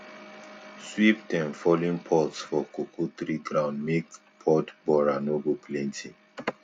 sweep dem fallen pods for cocoa tree ground make pod borer no go plenty